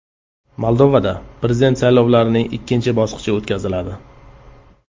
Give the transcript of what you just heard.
Moldovada prezident saylovlarining ikkinchi bosqichi o‘tkaziladi.